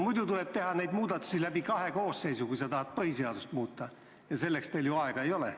Muidu tuleb teha neid muudatusi läbi kahe koosseisu, kui me tahame põhiseadust muuta, ja selleks teil ju aega ei ole.